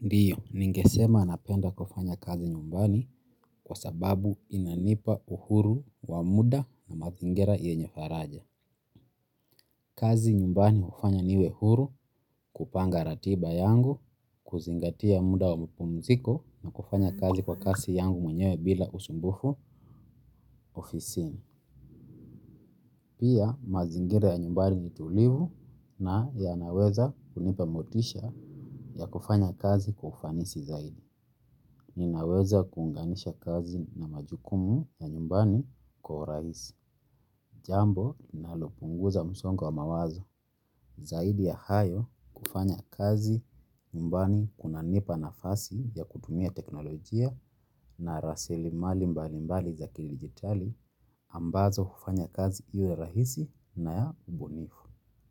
Ndio, ningesema napenda kufanya kazi nyumbani kwa sababu inanipa uhuru wa muda na mazingira yenye faraja. Kazi nyumbani hufanya niwe huru kupanga ratiba yangu, kuzingatia muda wa mapumziko na kufanya kazi kwa kasi yangu mwenyewe bila usumbufu ofisini. Pia mazingira ya nyumbani ni tulivu na yanaweza kunipa motisha ya kufanya kazi kwa ufanisi zaidi. Ninaweza kuunganisha kazi na majukumu ya nyumbani kwa urahisi. Jambo linalopunguza msongo wa mawazo. Zaidi ya hayo kufanya kazi nyumbani kunanipa nafasi ya kutumia teknolojia na rasilimali mbali mbali za kidijitali ambazo hufanya kazi iwe rahisi na ya ubunifu.